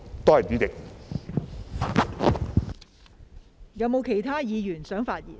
是否有其他議員想發言？